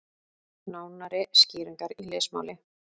Nánari skýringar í lesmáli.